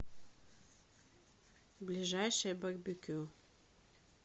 ближайшее барбекю